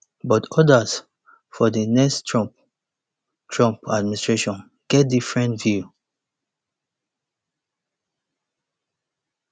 but odas for di next trump trump administration get different view